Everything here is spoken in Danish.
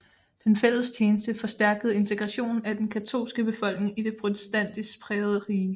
Den fælles tjeneste forstærkede integrationen af den katolske befolkning i det protestantisk prægede rige